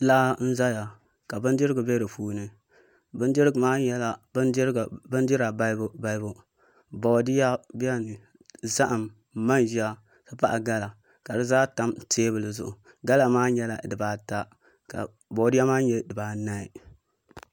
Laa n ʒɛya ka bindirigu bɛ di puuni bindirigu maa nyɛla bindira balibu balibu boodiyɛ zaham manʒa n ti pahi gala ka di zaa tam teebuli zuɣu gala maa nyɛla dibaa ta ka boodiyɛ maa nyɛ dibaanahi